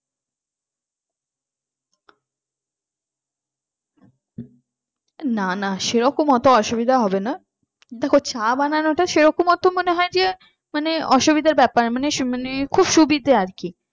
না না সেরকম অত অসুবিধা হবে না দেখো চা বানানো টা সেরকম অত মনে হয় যে মানে অসুবিধের ব্যাপার মানে যে খুব সুবিধা আর কি